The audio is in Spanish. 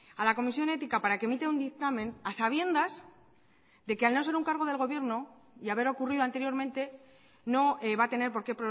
a la comisión ética para que emita un dictamen a sabiendas de que al no ser un cargo del gobierno y haber ocurrido anteriormente no va a tener por qué